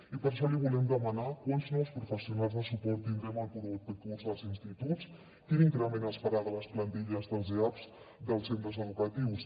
i per això li volem demanar quants nous professionals de suport tindrem el proper curs als instituts quin increment es farà de les plantilles dels eaps dels centres educatius